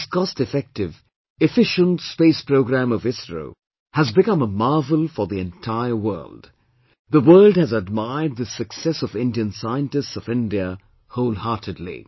This cost effective, efficient space programme of ISRO has become a marvel for the entire world; the world has admired this success of Indian scientists of India wholeheartedly